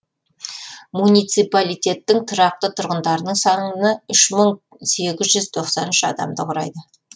муниципалитеттің тұрақты тұрғындарының саны үш мың сегіз жүз тоқсан үш адамды құрайды